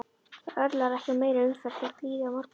Það örlar ekki á meiri umferð þótt líði á morguninn.